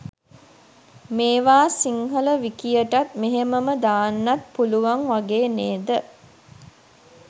මේවා සිංහල විකියටත් මෙහෙම්මම දාන්නත් පුළුවන් වගේ නේද.